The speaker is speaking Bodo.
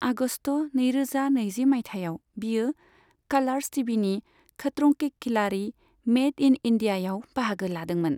आगस्त नैरोजा नैजि मायथाइयाव, बियो कालार्स टिभिनि खतरों के खिलाड़ी मेड इन इन्डियायाव बाहागो लादोंमोन।